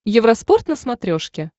евроспорт на смотрешке